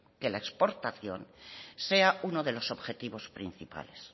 que la exportación sea uno de los objetivos principales